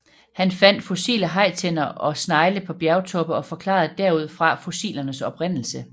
Han fandt fossile hajtænder og snegle på bjergtoppe og forklarede derudfra fossilernes oprindelse